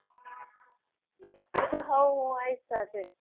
હા હું આવીશ તારી સાથે